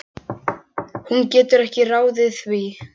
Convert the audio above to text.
Hún getur ekki ráðið því.